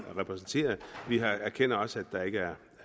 repræsenteret vi erkender også at der ikke er